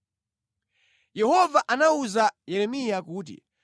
Yehova anawuza Yeremiya kuti,